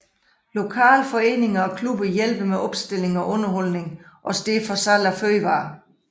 Lokale foreninger og klubber hjælper med opstilling og underholdning og står for salg af fødevarer